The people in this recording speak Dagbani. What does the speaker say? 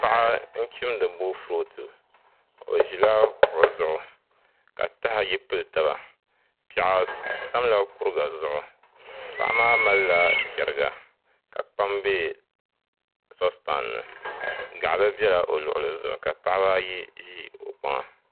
Paɣa n chimdi boofurooto o ʒila kuɣu zuɣu ka taha ayi pili taba piɛɣu tamla kuriga zuɣu paɣa maa malila cheriga ka kpam bɛ sospan ni gaɣali biɛla o luɣuli zuɣu ka paɣaba ayi ʒi kpaŋa